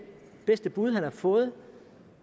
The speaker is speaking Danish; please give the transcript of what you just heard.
bud han har fået